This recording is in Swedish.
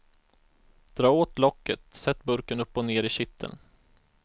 Dra åt locket, sätt burken upp och ner i kitteln.